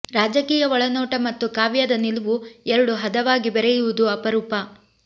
ರಾಜಕೀಯ ಒಳನೋಟ ಮತ್ತು ಕಾವ್ಯದ ನಿಲುವು ಎರಡೂ ಹದವಾಗಿ ಬೆರೆಯುವುದು ಅಪರೂಪ